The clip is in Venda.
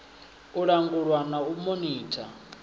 u langulwa na u monitha